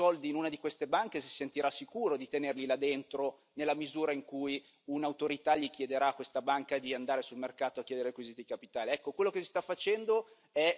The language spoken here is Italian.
E io voglio capire adesso chi ha i soldi in una di queste banche si sentirà sicuro di tenerli là dentro, nella misura in cui un'autorità gli chiederà a questa banca di andare sul mercato a chiedere i requisiti di capitale.